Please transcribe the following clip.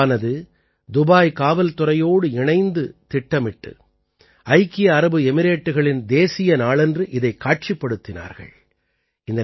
களறி கிளப்பானது துபாய் காவல்துறையோடு இணைந்து திட்டமிட்டு ஐக்கிய அரபு எமிரேட்டுகளின் தேசிய நாளன்று இதைக் காட்சிப்படுத்தினார்கள்